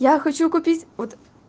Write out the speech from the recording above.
я хочу купить вот